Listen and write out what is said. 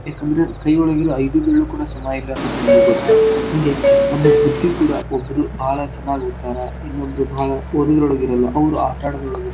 ಯಾಕಂದ್ರೇ ಕೈ ಒಳ್ಗಿರೋ ಐದೂ ಬೇರ್ಳಕೂಡಾ ಸಮಾ ಇಲ್ಲಾ ಅನ್ನೋದ್ ನಮ್ಗು ಗೊತ್ತು. ಹಂಗೆ ನಮ್ಗ್ ಬುದ್ದಿ ಕೂಡಾ ಒಬ್ರೂ ಬಾಳ್ ಚನಾಗ್ ಓತ್ತಾರ ಇನ್ನೋಬ್ರು ಬಾಳ್ ಓದುದ್ರೊಳ್ಗ ಇರಲ್ಲಾ ಅವ್ರ ಆಟಾ ಆಡೋದ್ರೊಳ್ಗ ಇರ್ತಾರ.